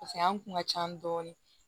an kun ka ca dɔɔnin